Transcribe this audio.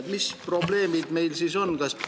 " Mis probleemid meil siis on?